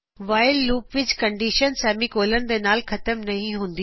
while loop ਵਿਚ condition semicolon ਦੇ ਨਾਲ ਖਤਮ ਨਹੀ ਹੁੰਦੀ